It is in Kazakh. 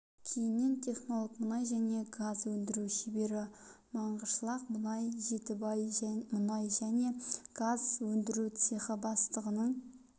кейіннен технолог мұнай және газ өндіру шебері маңғышлақ мұнай жетібай мұнай және газ өндіру цехы бастығының